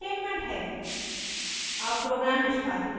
और यह return statement है